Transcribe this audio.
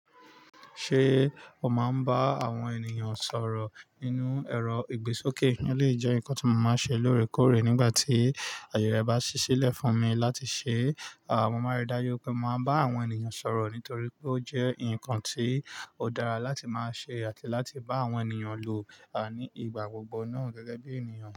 Ṣé o máa ń bá àwọn ènìyàn sọ̀rọ̀ nínú ẹrọ ìgbésókè? Eleyii jẹ́ ǹkan tí mo máa ń ṣe lóòrèkóòrè nígbà tí àyè rẹ bá ṣí sílẹ̀ fún mi láti ṣe, à mo máa rí dájú pé mo máa bá àwọn ènìyàn sọ̀rọ̀ nítorí pé ó jẹ́ ǹkan ti ó dára láti máa ṣe àti láti bá àwọn ènìyàn lò ní ìgbà gbogbo náà gẹ́gẹ́ bí ènìyàn.